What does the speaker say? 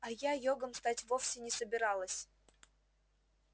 а я йогом стать вовсе не собиралась